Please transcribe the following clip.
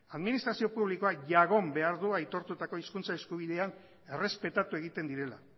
administrazio publikoa behar du aitortutako hizkuntza eskubideak errespetatu egiten